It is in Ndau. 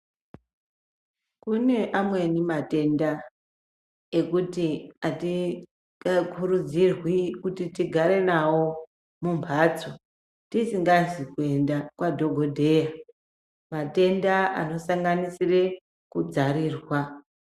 Kune amweni matenda ekuti atikurudzirwi kuti tigare nawo mumbatso tisikazi kuenda kwadhokodheya matenda anosanganisira kudzarirwa.